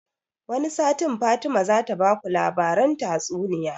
Wani satin Fatima zata baku labaran tatsuniya